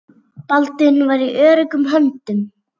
Baldvin var í öruggum höndum.